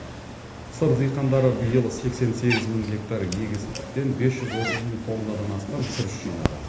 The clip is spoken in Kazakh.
сыр диқандары биыл сексен сегіз мың гектар егістіктен бес жүз отыз мың тоннадан астам күріш жинады